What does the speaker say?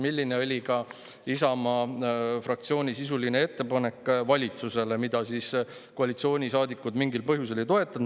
" Selline oli ka Isamaa fraktsiooni sisuline ettepanek valitsusele, mida koalitsioonisaadikud mingil põhjusel ei toetanud.